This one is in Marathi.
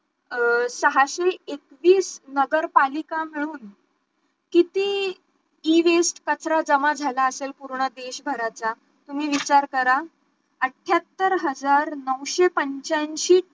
अं सहाशे एकवीस नगर पालिका मिळून किती Ewaste कचरा जमा झाला असेल पूर्ण देश भराचा तुम्ही विचार करा अठ्यात्तर हजार नऊशे पंच्यांशी